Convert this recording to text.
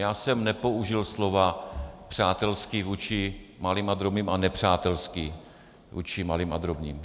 Já jsem nepoužil slova "přátelský vůči malým a drobným" a "nepřátelský vůči malým a drobným".